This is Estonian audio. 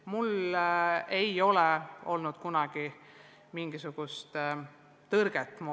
Mul ei ole kunagi olnud mingisugust tõrget vastata.